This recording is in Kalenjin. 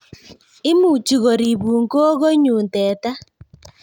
Imuchi koripun gogo nyun teta